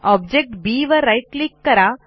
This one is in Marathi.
ऑब्जेक्ट बी वर राईट क्लिक करा